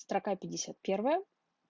строка пятьдесят первая